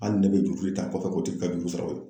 Hali ne bɛ juru ta kɔfɛ, k'o tigi ka juru sara